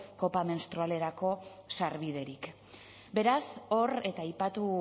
kopa menstrualerako beraz hor eta aipatu